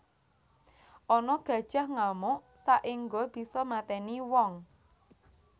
Ana gajah ngamuk saengga bisa mateni wong